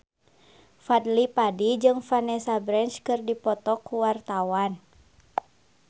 Fadly Padi jeung Vanessa Branch keur dipoto ku wartawan